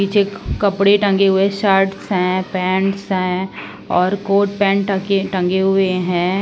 पीछे कपड़े टंगे हुए शर्ट है पैंट है और कोट पैंट ट- टंगे हुए है।